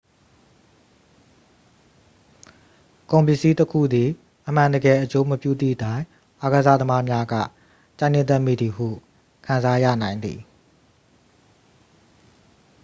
ကုန်ပစ္စည်းတစ်ခုသည် အမှန်တကယ် အကျိုးမပြုသည့်တိုင် အားကစားသမားများက ကြိုက်နှစ်သက်မိသည်ဟု ခံစားရနိုင်သည်